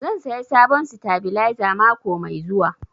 Zan saya sabon sitabilizer mako mai zuwa